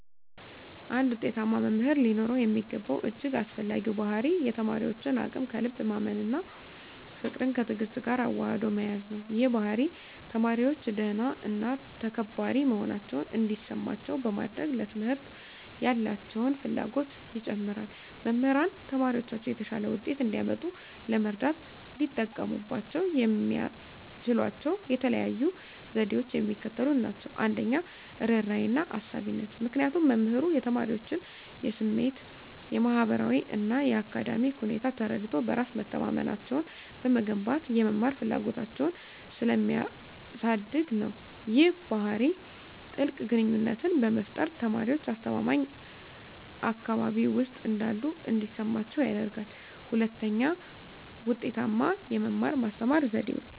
አንድ ውጤታማ መምህር ሊኖረው የሚገባው እጅግ አስፈላጊው ባሕርይ የተማሪዎችን አቅም ከልብ ማመን እና ፍቅርን ከትዕግስት ጋር አዋህዶ መያዝ ነው። ይህ ባሕርይ ተማሪዎች ደህና እና ተከባሪ መሆናቸውን እንዲሰማቸው በማድረግ፣ ለትምህርት ያላቸውን ፍላጎት ይጨምራል። መምህራን ተማሪዎቻቸው የተሻለ ውጤት እንዲያመጡ ለመርዳት ሊጠቀሙባቸው የሚችሏቸው የተለዩ ዘዴዎች የሚከተሉት ናቸው - 1, ርህራሄና አሳቢነት -ምክንያቱም መምህሩ የተማሪዎቹን የስሜት፣ የማህበራዊ እና የአካዳሚክ ሁኔታዎች ተረድቶ፣ በራስ መተማመናቸውን በመገንባት የመማር ፍላጎታቸውን ስለሚያሳድግ ነው። ይህ ባህሪ ጥልቅ ግንኙነትን በመፍጠር፣ ተማሪዎች አስተማማኝ አካባቢ ውስጥ እንዳሉ እንዲሰማቸው ያደርጋል። 2, ውጤታማ የመማር-ማስተማር ዘዴዎች